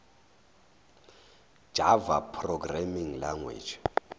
java programming language